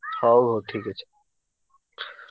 ହଉ ହଉ ଠିକ ଅଛି।